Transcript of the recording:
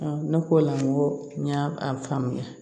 ne ko o la n ko n y'a a faamuya